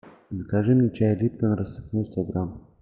закажи мне чай липтон рассыпной сто грамм